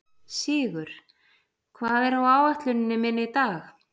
Sigur, hvað er á áætluninni minni í dag?